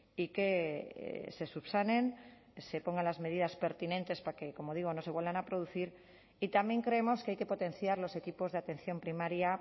y que se subsanen se pongan las medidas pertinentes para que como digo no se vuelvan a producir y también creemos que hay que potenciar los equipos de atención primaria